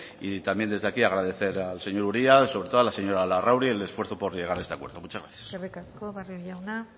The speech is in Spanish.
también desde aquí agradecer al señor uria sobre todo a la señora larrauri por el esfuerzo por llegar a este acuerdo muchas gracias eskerrik asko barrio jauna